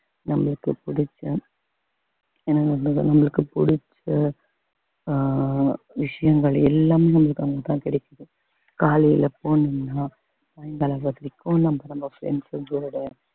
நம்மளுக்கு பிடிச்ச ஏன்னா நம்மளுக்கு பிடிச்ச அஹ் விஷயங்கள் எல்லாமே உங்களுக்கு அங்கதான் கிடைக்குது காலையில போனீங்கன்னா சாயங்காலம் வரைக்கும் நமக்கு நம்ப friends களோட